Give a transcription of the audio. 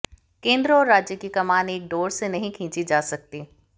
केंद्र और राज्य की कमान एक डोर से नहीं खींची जा सकती